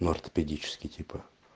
и ортопедический типа